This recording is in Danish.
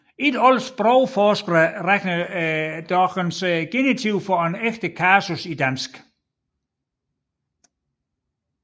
Ikke alle sprogforskere regner dog genitiv for en ægte kasus i dansk